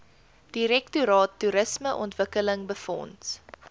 direktoraat toerismeontwikkeling befonds